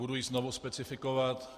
Budu ji znovu specifikovat.